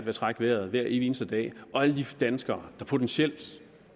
at trække vejret hver evig eneste dag og alle de danskere der potentielt